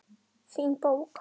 Fín bók.